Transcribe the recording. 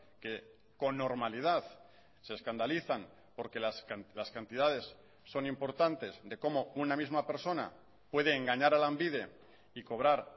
que con normalidad se escandalizan porque las cantidades son importantes de cómo una misma persona puede engañar a lanbide y cobrar